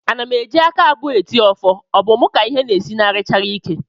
Ana m eji aka abụọ eti ọfọ, ọ bụ mụ ka ịhe na-esinarịchara ike?